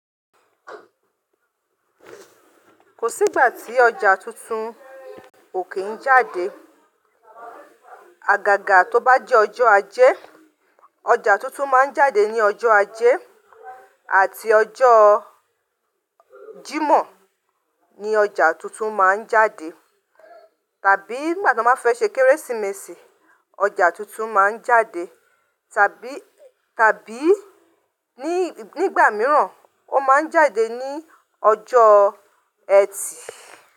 Kò sí gbà tí ọjà tuntun ò kí n jáde. Àgàgà tó bá jẹ́ ọjọ́ ajé, ọjà tuntun máa ń jáde ní ọjọ́ ajé àti ọjọ́o Jímọ̀ ni ọjà tuntun máa ń jáde. Tàbí ngbà t'ọ́n bá fẹ́ ṣe Kérésìmesì, ọjà tuntun máa ń jáde. Tàbí, tàbí ní ì, nígbà míràn ó máa ń jáde ní ọjọ́ ẹtì.